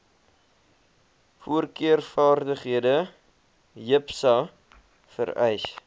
voorkeurvaardighede jipsa vereis